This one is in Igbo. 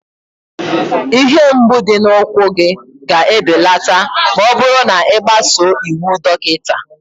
Ihe mgbu dị n'ụkwụ gị ga-ebelata ma ọ bụrụ na ị gbasoo iwu dọkịta